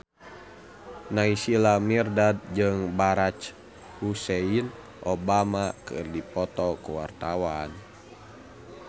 Naysila Mirdad jeung Barack Hussein Obama keur dipoto ku wartawan